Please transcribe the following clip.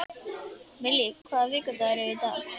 Millý, hvaða vikudagur er í dag?